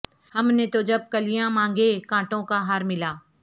ہم نے تو جب کلیاں مانگیں کانٹوں کا ہار ملا